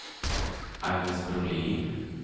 Agnes Brolin